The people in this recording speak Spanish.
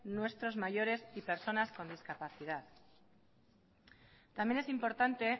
nuestros mayores y personas con discapacidad también es importante